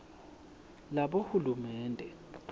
labohulumende